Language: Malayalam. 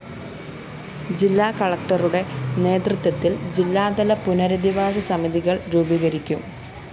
ജില്ലാ കളക്ടറുടെ നേതൃത്വത്തില്‍ ജില്ലാതല പുനരധിവാസ സമിതികള്‍ രൂപീകരിക്കും